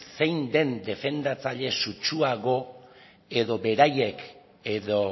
zein den defendatzaile sutsuago edo beraiek edo